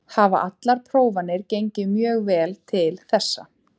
Hafa allar prófanir gengið mjög vel til þessa.